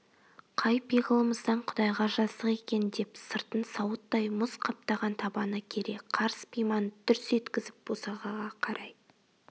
қай пиғылымыздан құдайға жаздық екен деп сыртын сауыттай мұз қаптаған табаны кере қарыс пиманы дүрс еткізіп босағаға қарай